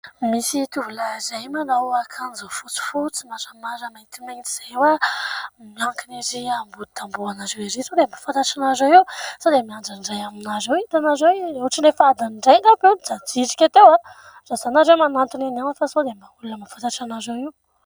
Misy tovolahy iray manao akanjo fotsifotsy maramara mantimainty izay, miankina ary ambody tamboho anareo ery. Sao dia mba fantatra anareo io sao dia miandry ny iray aminareo itanareo ohatrany efa adiny iray angamba io no mijajirika teo raha izany ianareo manantona eny ihany fa sao dia mba olona mahafantatra anareo io.